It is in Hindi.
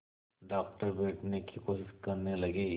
डॉक्टर बैठने की कोशिश करने लगे